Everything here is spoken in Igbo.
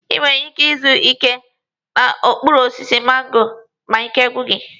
I nwere ike izu ike n'okpuru osisi mango ma ike gwụ gị.